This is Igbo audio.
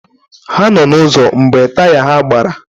Ha nọ n'ụzọ mgbe taya ha gbara.